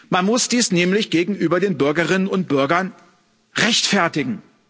Man muss dies nämlich gegenüber den Bürgerinnen und Bürgern rechtfertigen.